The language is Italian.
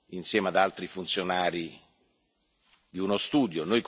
insieme ad altri funzionari, di uno studio.